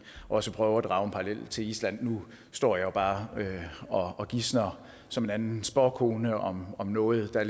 også prøve at drage en parallel til island nu står jeg jo bare og gisner som en anden spåkone om noget der